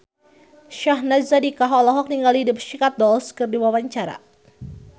Syahnaz Sadiqah olohok ningali The Pussycat Dolls keur diwawancara